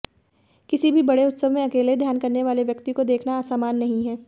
किसी बड़े उत्सव में अकेले ध्यान करने वाले व्यक्ति को देखना असामान्य नहीं है